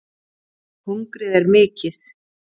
Hungrið er mikið